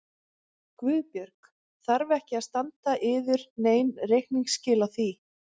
GUÐBJÖRG: Ég þarf ekki að standa yður nein reikningsskil á því.